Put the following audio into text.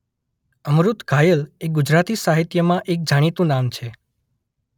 અમૃત ઘાયલ એ ગુજરાતી સાહિત્યમાં એક જાણીતું નામ છે.